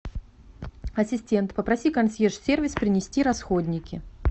ассистент попроси консьерж сервис принести расходники